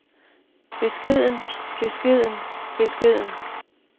beskeden beskeden beskeden